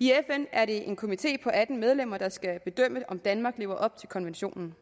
i fn er det en komité på atten medlemmer der skal bedømme om danmark lever op til konventionen